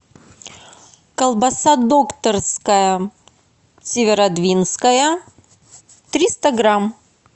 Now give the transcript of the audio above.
колбаса докторская северодвинская триста грамм